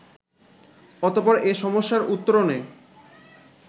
অতঃপর এ সমস্যার উত্তরণে